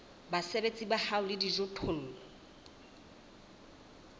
basebeletsi ba hao le dijothollo